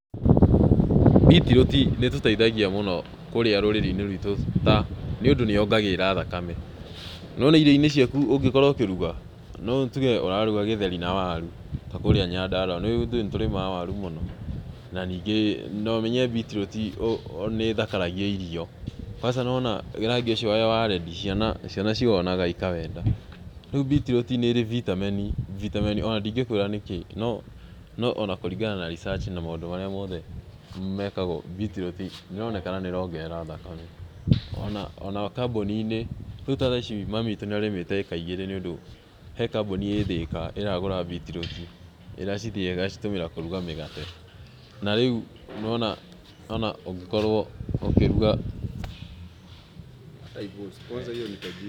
Mbitirũti nĩtũteithagia mũno kũrĩa rũrĩĩ-ini ruitũ ta nĩũndũ nĩyongagĩrĩra thakame, nĩwona irio-inĩ ciaku ũngĩkorwo ũkĩruga, rĩu tuuge ũraruga gĩtheri na waru, ta kũũrĩa Nyandarua nĩ ũũĩ ithuĩ nĩtũrĩmaga waru mũno, na nĩngĩ nomenye mbitirũti nĩĩthakaragia irio, kwaca nĩwaona rangi ũcio wa redi, ciana ciwonaga ikawenda, rĩu mbitirũti nĩĩrĩ bitameni ,bitameni ona ndingĩkwĩra nĩkĩĩ, no ona kũringana na research na maũndũ marĩa moothe mekagwo, mbitirũri, nĩĩroneka nĩĩrongerera thakame, ona kambuuni-inĩ, tarĩu ta thaa ici mami witũ nĩarĩmĩte ĩĩka igĩrĩ nĩũndũ he kambuni ĩĩ Thika ĩragũra mbitirũti, ĩracithĩa ĩgacitũmĩra kũruga mĩgate, na rĩu nĩũrona ũngĩkorwo ũkĩruga.